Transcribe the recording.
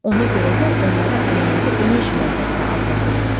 Ona görə də onlara ənənəvi enerji mənbələri adlandırırlar.